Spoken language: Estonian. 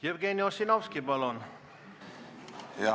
Jevgeni Ossinovski, palun!